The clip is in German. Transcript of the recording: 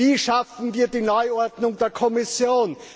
Wie schaffen wir die Neuordnung der Kommission?